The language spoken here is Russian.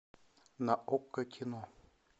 на окко кино